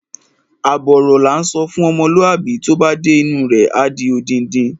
Àbọ̀ ọ̀rọ̀ la ńsọ fún ọmọlúwàbí, tó bá dé inú u rẹ̀, á di odindi.